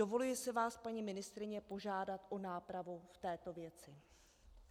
Dovoluji si vás, paní ministryně, požádat o nápravu v této věci.